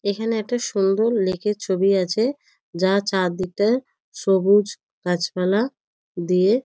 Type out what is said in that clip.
এখানে একটা সুন্দর লেক -এর ছবি আছে। যার চারদিকটা সবুজ গাছপালা দিয়ে --